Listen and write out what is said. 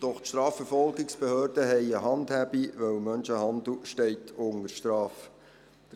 Die Strafverfolgungsbehörden haben eine Handhabung, da Menschenhandel unter Strafe steht.